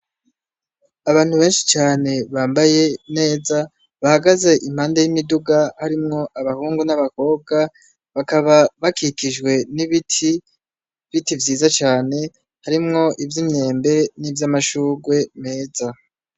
Abantu benshi cane bambaye neza bahagaze impande y'imiduga harimwo abahungu n'abakobwa bakaba bakikijwe n'ibiti, biti vyiza cane harimwo ivyo inyembe n'ivyo amashurwe meza.